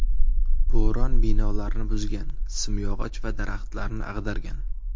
Bo‘ron binolarni buzgan, simyog‘och va daraxtlarni ag‘dargan.